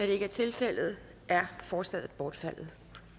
det ikke er tilfældet er forslaget bortfaldet